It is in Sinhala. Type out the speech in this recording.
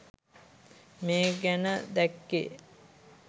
මේ ගැන දැක්කේ.